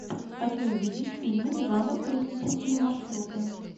хочу увидеть фильмик в жанре туристические маршруты